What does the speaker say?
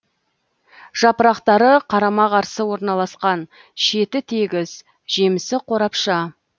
жапырақтары қарама қарсы орналасқан шеті тегіс жемісі қорапша